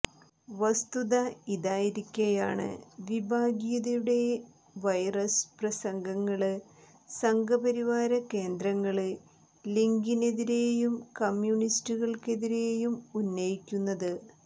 വസ്തുത ഇതായിരിക്കെയാണ് വിഭാഗീയതുയുടെ വൈറസ് പ്രസംഗങ്ങള് സംഘപരിവാര കേന്ദ്രങ്ങള് ലിഗിനെതിരെയും കമ്മ്യൂണിസ്റ്റുകള്ക്കെതിരെയും ഉന്നയിക്കുന്നത്